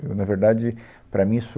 Eu, na verdade, para mim isso